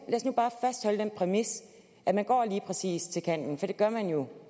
bare fastholde den præmis at man går lige præcis til kanten for det gør man jo